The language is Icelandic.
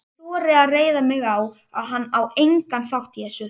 Ég þori að reiða mig á, að hann á engan þátt í þessu.